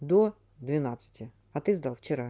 до двенадцати а ты сдал вчера